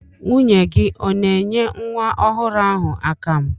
Nwunye gị ọ na-enye nwa ọhụrụ ahụ akamụ?